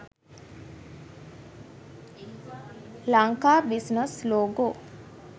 lanka business logo